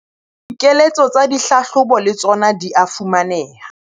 Dikeletso tsa dihlahlobo le tsona di a fumaneha.